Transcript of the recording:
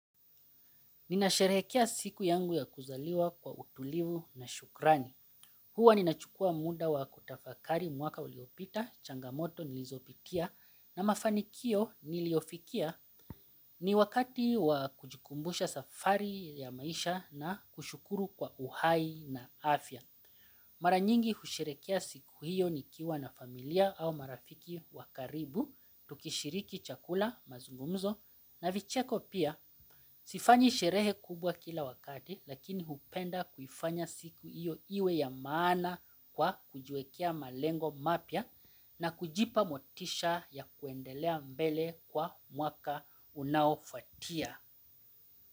Ninasherehekea siku yangu ya kuzaliwa kwa utulivu na shukrani. Hua ninachukua muda wa kutafakari mwaka uliopita, changamoto, nilizopitia, na mafanikio niliyofikia ni wakati wa kujikumbusha safari ya maisha na kushukuru kwa uhai na afya. Mara nyingi husherekea siku hiyo nikiwa na familia au marafiki wa karibu tukishiriki chakula mazungumzo na vicheko pia sifanyi sherehe kubwa kila wakati lakini hupenda kuifanya siku hiyo iwe ya maana kwa kujiwekea malengo mapya na kujipa motisha ya kuendelea mbele kwa mwaka unaofuatia.